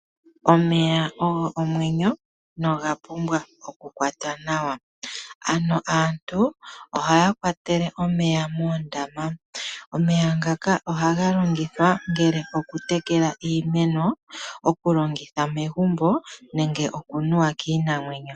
Omeya ogo omwenyo noga pumbwa oku kwatwa nawa, ano aantu ohaya kwatele omeya mooondama. Omeya ngaka ohaga longithwa oku tekela iimeno, okulongitha megumbo nenge okunuwa kiinamwenyo.